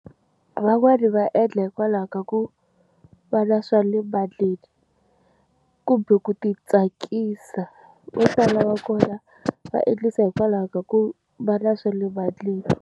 Van'wani va endla hikwalaho ka ku va na swa le kumbe ku ti tsakisa va sala va kona va endlisa hikwalaho ka ku vana swale .